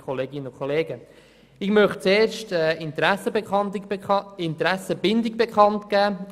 Ich möchte zuerst meine Interessenbindung bekanntgeben.